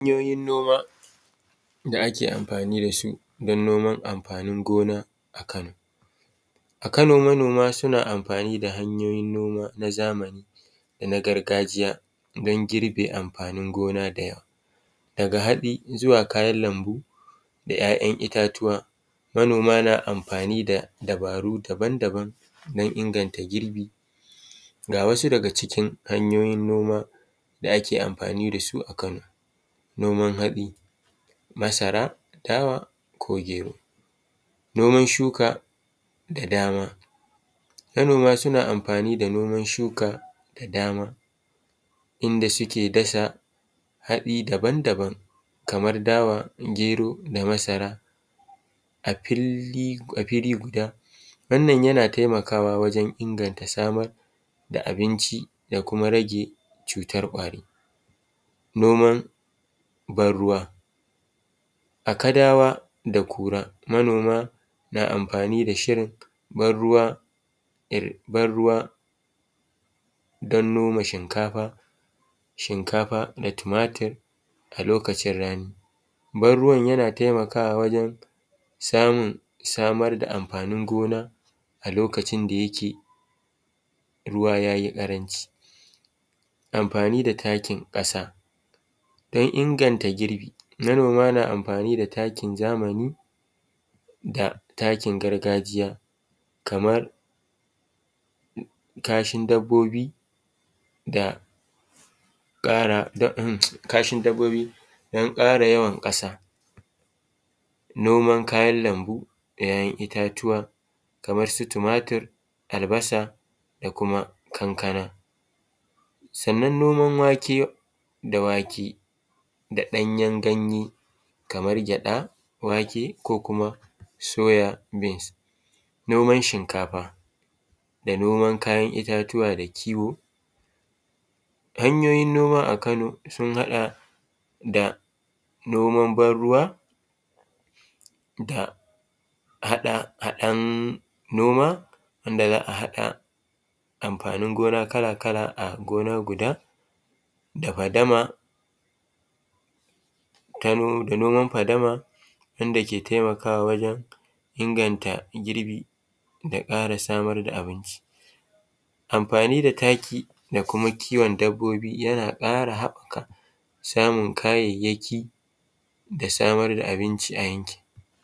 Hanyoyin noma da ake amfani da su dan noman amfanin gona a Kano. A Kano manoma suna amfani da hanyoyin noma na zamani da na gargajiya dan girbe amfanin gona da yawa daga haɗi zuwa kayan lambu da ‘ya’yan itatuwa, manoma na amfani da dabaru daban-daban dan inganta girbi ga wasu daga cikin hanyoyin da ake amfani da su a kano: noman hatsi, masara, dawa ko gero, noman shuka da dama manoma suna amfani da noman shuka da dama inda suke dasa hatsi daban-daban kamar dawa, gero da masara a fili guda wannan yana taimakawa wajan inganta samar da abinci da kuma rage cutar kwari. Noman ban ruwa a Kadawa da Kura, manoma na amfani da shirin ban ruwa dan noma shinkafa da tumatir a lokacin rani, ban ruwan yana taimakawa wajen samun samar da amfanin gona a lokacin da yake ruwa ya yi ƙaranci. Amfani da takin ƙasa dan inganta girbi, manoma na amfani da takin zamani da takin gargajiya kamar kashin dabobi dan ƙara yawan ƙasa, noman kayan lambu da ‘ya’yan itatuwa kamar su tumatir, albasa da kuma kankana, sannan noman wake da wake da ɗanyen ganye kamar gyaɗa, wake ko kuma soya beans, noman shinkafa na noman kayan itatuwa da kiwo. Hanyoyin noma a Kano sun haɗa da: noman ban ruwa da haɗahaɗan noma wanda za a haɗa amfanin gona kala-kala a gona guda da fadama da noman fadama wanda ke taimakawa wajen inganta girbi da ƙara samar da abinci. Amfani da taki da kuma kiwon dabobi yana ƙara haɓaka samun kayayaki da samar da abinci a yankin.